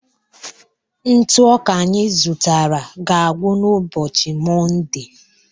Ntụ ọka anyị zụtara ga-agwụ n'ụbọchị Mọnde